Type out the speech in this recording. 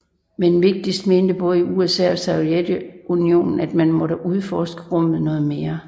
Men vigtigst mente både USA og Sovjetunionen at man måtte udforske rummet noget mere